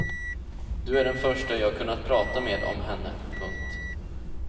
Du är den första jag kunnat prata med om henne. punkt